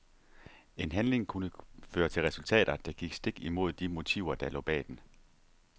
En handling kunne føre til resultater, der gik stik imod de motiver der lå bag den.